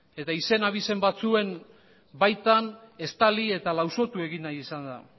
eta izen abizen batzuen baitan estali eta lausotuegin nahi izan da